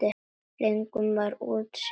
Engum var úthýst.